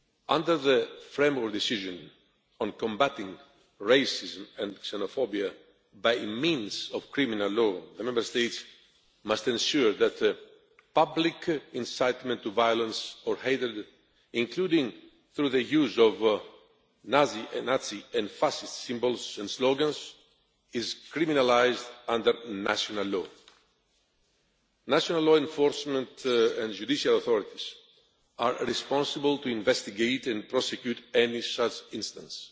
Under the Framework Decision on combating racism and xenophobia by means of criminal law the Member States must ensure that public incitement to violence or hatred, including through the use of Nazi and fascist symbols and slogans, is criminalised under national law. National law enforcement and judicial authorities are responsible for investigating and prosecuting any such instance.